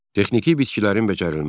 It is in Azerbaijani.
Texniki bitkilərin becərilməsi.